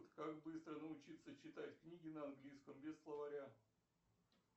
как быстро научиться читать книги на английском без словаря